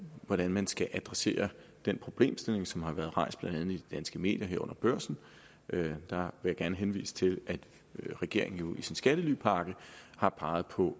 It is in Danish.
hvordan man skal adressere den problemstilling som har været rejst blandt andet i de danske medier herunder børsen der vil jeg gerne henvise til at regeringen jo i sin skattelypakke har peget på